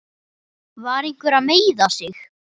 Var einhver að meiða sig?